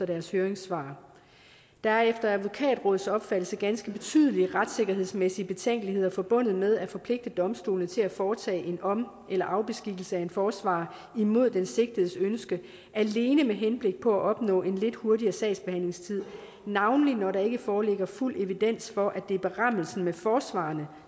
deres høringssvar der er efter advokatrådets opfattelse ganske betydelige retssikkerhedsmæssige betænkeligheder forbundet med at forpligte domstolene til at foretage en om eller afbeskikkelse af en forsvarer imod den sigtedes ønske alene med henblik på at opnå en lidt hurtigere sagsbehandlingstid navnlig når der ikke foreligger fuld evidens for at det er berammelsen med forsvarerne